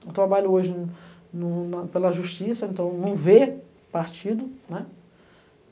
Eu trabalho hoje no no na pela justiça, então não vê partido, né.